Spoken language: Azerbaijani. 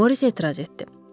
Moris etiraz etdi.